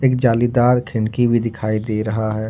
जालीदार खिड़की भी दिखाई दे रहा है।